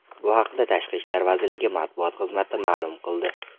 Bu haqda Tashqi ishlar vazirligi matbuot xizmati ma’lum qildi.